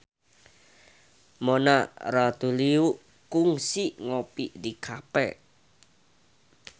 Mona Ratuliu kungsi ngopi di cafe